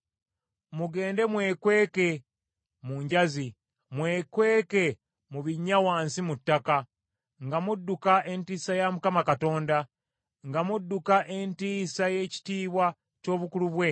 Mugende mwekweke mu njazi, mwekweke mu binnya wansi mu ttaka, nga mudduka entiisa ya Mukama Katonda, nga mudduka entiisa y’ekitiibwa ky’obukulu bwe.